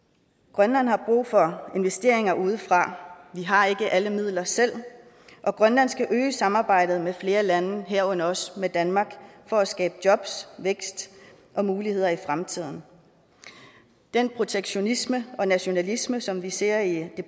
grønland har brug for investeringer udefra vi har ikke alle midler selv og grønland skal øge samarbejdet med flere lande herunder også med danmark for at skabe jobs vækst og muligheder i fremtiden den protektionisme og nationalisme som vi ser i